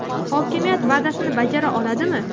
Hokimiyat va’dasini bajara oladimi?..